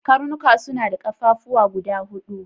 Karnika su na da ƙafafuwa guda hudu.